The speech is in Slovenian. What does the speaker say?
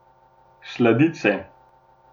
Sladice?